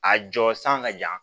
A jɔ san ka jan